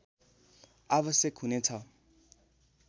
आवश्यक हुने छ